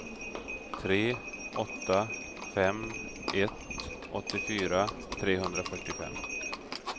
tre åtta fem ett åttiofyra trehundrafyrtiofem